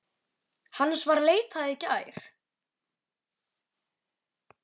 Hans var leitað í gær.